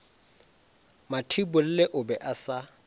mathibolle o be a sa